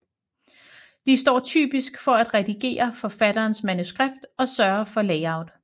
De står typisk for at redigere forfatterens manuskript og sørge for layout